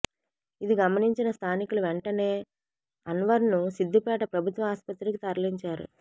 ఇది గమనించిన స్థానికులు వెంటనే అన్వర్ను సిద్ధిపేట ప్రభుత్వ ఆస్పత్రికి తరలించారు